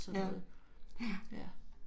Ja, ja